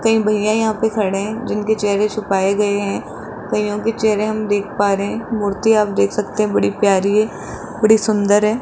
कई भईया यहाँ पे खड़े है जिनके चेहरे छुपाए गए हैं कईयो के चेहरे हम देख पा रहे हैं मूर्ति आप देख सकते हैं बड़ी प्यारी बड़ी सुंदर है।